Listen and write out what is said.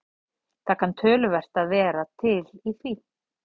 Það kann töluvert að vera til í því.